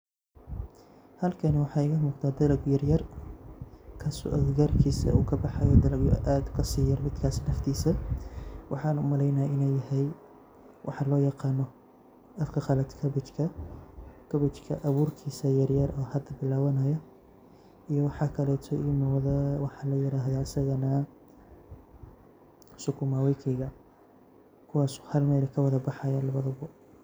Halkani waxaa iga muqda dalag yaryar kaaso agagaarkisa uu kabaxayo dalagyo aad kasi yar midka naftiisa waxana umaleynaya inu yahay waxaa loo yaqano afka qalad kabejka, kabajka abuurkis yaryar oo hada bilawanayo iyo waxakaleto uu wada waxa la yirahdo asagana sukuma wiki kuwaas oo hal Mel kawada baxaya labadabo